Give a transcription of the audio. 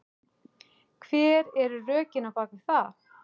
Hver eru rökin á bakvið það?